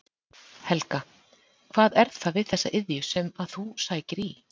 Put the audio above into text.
Helga: Hvað er það við þessa iðju sem að þú sækir í?